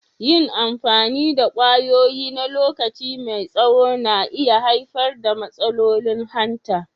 Yin amfani da kwayoyi na lokaci mai tsaho na iya haifar da matsalolin hanta.